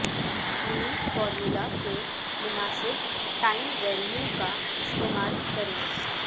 منی formula کے مناسب time value کا استعمال کریں